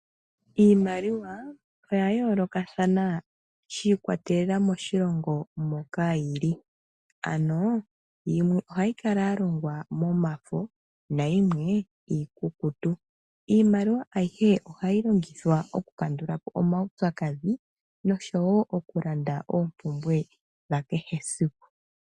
Iimaliwa oya yoolokathana shiikwatelela moshilongo moka yili ano yimwe ohayi kala ya longwa momafo nayimwe iikukutu. Iimaliwa ayihe ohayi longithwa okukandulapo omaupyakadhi noshowo okulanda oompumbwe dha kehe esiku .